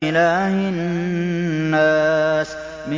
إِلَٰهِ النَّاسِ